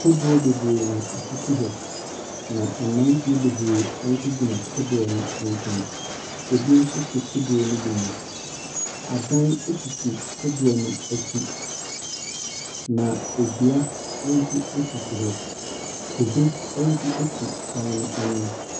Kodoɔ bebree na ɛsisi hɔ, na mmeranteɛ bebree nso gyina kodoɔ no nkyɛn. Ebi nso te kodoɔ no bi mu. Adan sisi kodoɔ no akyi, na dua nso sisi hɔ. Kube nso si adan no anim.